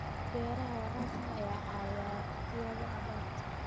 Beeraha waraabka ayaa caawiya waqtiyada abaarta.